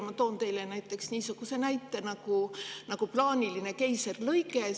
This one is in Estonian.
Ma toon näiteks plaanilise keisrilõike.